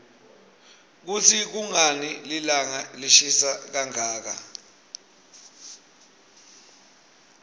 kutsi kunqani lilanqa lishisa kanqaka